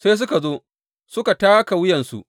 Sai suka zo suka taka wuyansu.